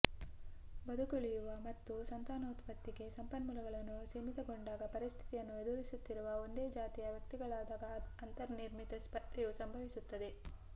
ಬದುಕುಳಿಯುವ ಮತ್ತು ಸಂತಾನೋತ್ಪತ್ತಿಗೆ ಸಂಪನ್ಮೂಲಗಳು ಸೀಮಿತಗೊಂಡಾಗ ಪರಿಸ್ಥಿತಿಯನ್ನು ಎದುರಿಸುತ್ತಿರುವ ಒಂದೇ ಜಾತಿಯ ವ್ಯಕ್ತಿಗಳಾಗಿದ್ದಾಗ ಅಂತರ್ನಿರ್ಮಿತ ಸ್ಪರ್ಧೆಯು ಸಂಭವಿಸುತ್ತದೆ